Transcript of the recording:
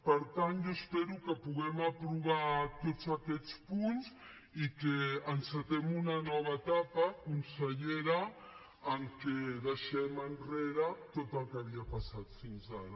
per tant jo espero que puguem aprovar tots aquest punts i que encetem una nova etapa consellera en què deixem enrere tot el que havia passat fins ara